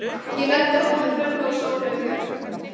Ég lenti í hópi með Hrönn og Sóleyju Björk.